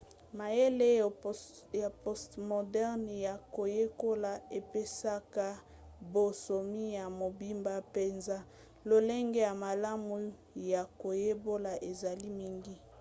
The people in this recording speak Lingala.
mayele ya postmoderne ya koyekola epesaka bonsomi ya mobimba mpenza. lolenge ya malamu ya koyekola ezali mingi